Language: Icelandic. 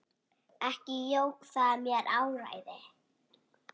Ekki jók það mér áræði.